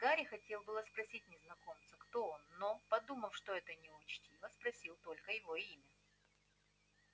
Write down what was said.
гарри хотел было спросить незнакомца кто он но подумав что это неучтиво спросил только его имя